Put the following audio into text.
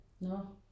Nårh?